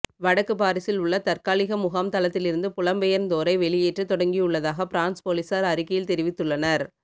வடக்கு பாரிஸில் உள்ள தற்காலிக முகாம் தளத்திலிருந்து புலம்பெயர்ந்தோரை வெளியேற்ற தொடங்கியுள்ளதாக பிரான்ஸ் பொலிசார் அறிக்கையில் தெரிவித்துள்ளனர்